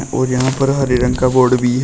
और यहां पर हरे रंग का बोर्ड भी है।